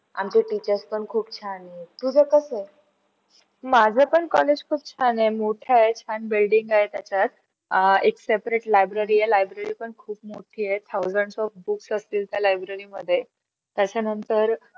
आह एक separate library आहे library पण खूप मोठी आहे. thousands of books असतील त्या library मध्ये त्याच्यानंतर.